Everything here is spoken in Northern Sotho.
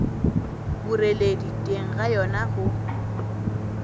boreledi teng ga yona go